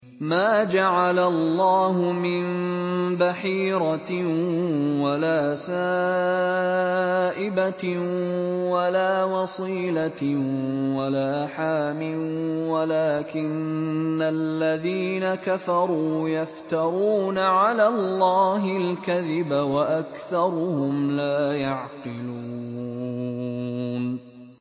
مَا جَعَلَ اللَّهُ مِن بَحِيرَةٍ وَلَا سَائِبَةٍ وَلَا وَصِيلَةٍ وَلَا حَامٍ ۙ وَلَٰكِنَّ الَّذِينَ كَفَرُوا يَفْتَرُونَ عَلَى اللَّهِ الْكَذِبَ ۖ وَأَكْثَرُهُمْ لَا يَعْقِلُونَ